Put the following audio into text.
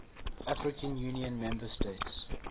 african union member states